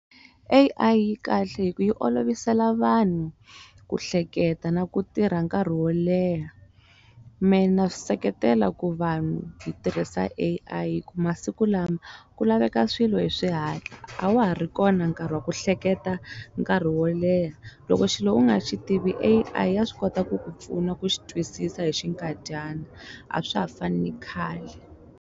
A_I kahle hi ku yi olovisela vanhu ku hleketa na ku tirha nkarhi wo leha me na swi seketela ku vanhu hi tirhisa A_I hi ku masiku lama ku laveka swilo hi swihatla a wa ha ri kona nkarhi wa ku hleketa nkarhi wo leha loko xilo u nga xi tivi A_I ya swi kota ku ku pfuna ku xi twisisa hi xinkadyana a swa ha fani na khale.